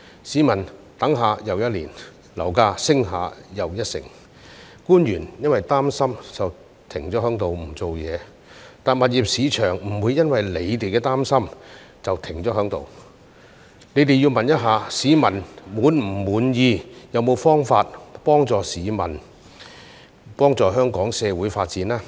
市民等了一年又一年，樓價升了一成又一成，官員因為擔心便停在那裏不做事，但物業市場不會因為他們的擔心便停在那裏，他們要問市民是否滿意，是否有方法幫助市民和香港社會發展呢？